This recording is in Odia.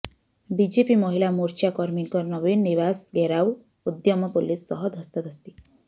ବିଜେପି ମହିଳା ମୋର୍ଚ୍ଚା କର୍ମୀଙ୍କ ନବୀନ ନିବାସ ଘେରାଉ ଉଦ୍ୟମ ପୋଲିସ ସହ ଧସ୍ତାଧସ୍ତି